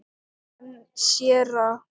En séra